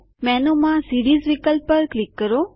મેનુમાં સીરીઝ વિકલ્પ પર ક્લિક કરો